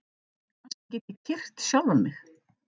Kannski get ég kyrkt sjálfan mig?